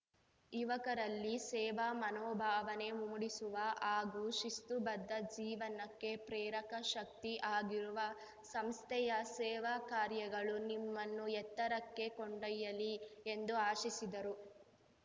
ಯುವಕರಲ್ಲಿ ಸೇವಾ ಮನೋಭಾವನೆ ಮೂಡಿಸುವ ಹಾಗೂ ಶಿಸ್ತುಬದ್ಧ ಜೀವನಕ್ಕೆ ಪ್ರೇರಕಶಕ್ತಿ ಆಗಿರುವ ಸಂಸ್ಥೆಯ ಸೇವಾ ಕಾರ್ಯಗಳು ನಿಮ್ಮನ್ನು ಎತ್ತರಕ್ಕೆ ಕೊಂಡೊಯ್ಯಲಿ ಎಂದು ಆಶಿಸಿದರು